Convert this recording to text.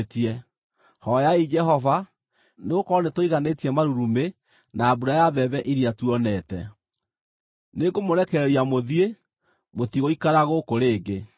Hooyai Jehova, nĩgũkorwo nĩtũiganĩtie marurumĩ na mbura ya mbembe iria tuonete. Nĩngũmũrekereria mũthiĩ; mũtigũikara gũkũ rĩngĩ.”